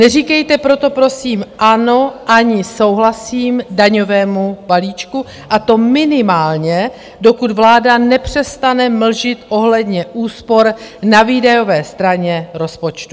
Neříkejte proto, prosím, ano ani souhlasím daňovému balíčku, a to minimálně, dokud vláda nepřestane mlžit ohledně úspor na výdajové straně rozpočtu.